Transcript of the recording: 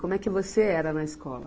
Como é que você era na escola?